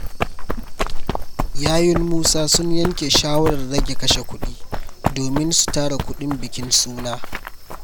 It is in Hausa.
Yayun Musa sun yanke shawarar rage kashe kuɗi domin su tara kuɗin bikin suna.